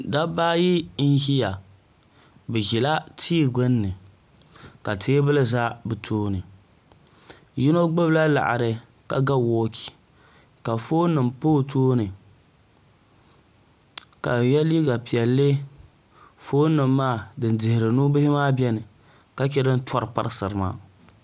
dabba ayi n ʒiya bi ʒila tia gbunni ka teebuli ʒɛ bi tooni yino gbubila laɣari ka ga woochi ka foon nim pa o tooni ka o yɛ liiga piɛlli foon nim maa din dihiri nubihi maa biɛni ka chɛ din tori parisiri maa